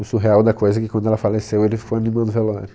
O surreal da coisa é que quando ela faleceu ele ficou animando o velório.